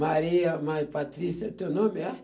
Maria, Patrícia, teu nome é?